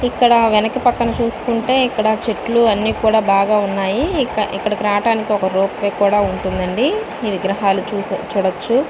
ఇక్కడ వెనుక పక్కన చూసుకుంటే ఇక్కడ చెట్లు అన్ని కూడ బాగ ఉన్నాయి. ఇక్కడకు రావటానికి ఒక రోప్ వే కూడ ఉంటుంది అండి ఈ విగ్రహాలు చూడచ్చు.